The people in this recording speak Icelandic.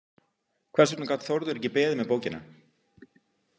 Hvers vegna gat Þórður ekki beðið með bókina?